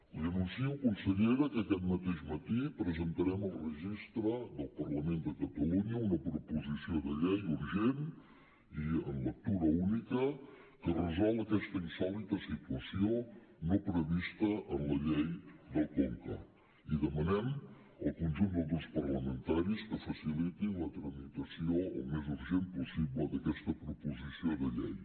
li anuncio consellera que aquest mateix matí presentarem al registre del parlament de catalunya una proposició de llei urgent i en lectura única que resol aquesta insòlita situació no prevista en la llei del conca i demanem al conjunt dels grups parlamentaris que facilitin la tramitació al més urgentment possible d’aquesta proposició de llei